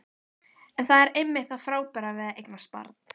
En það er einmitt það frábæra við að eignast barn.